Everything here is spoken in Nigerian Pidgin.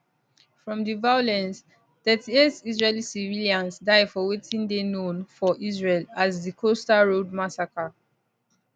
from di violence 38 israeli civilians die for wetin dey known for israel as di coastal road massacre